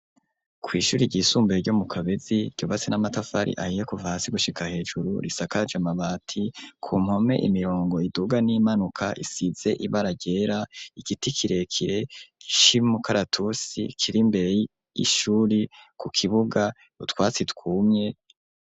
kw'ishure ry'isumbuye ryo mu kabezi, ryubatse n'amatafari ahiye kuvahasi gushika hejuru risaka amabati ku mpome imirongo iduga n'iyimanuka isize ibara ryera, igiti kirekire cumukaratusi kiri imbere y'ishure ku kibuga c'utwatsi twumye.